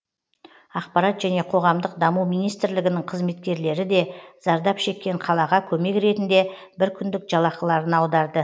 ақпарат және қоғамдық даму министрлігінің қызметкерлері де зардап шеккен қалаға көмек ретінде бір күндік жалақыларын аударды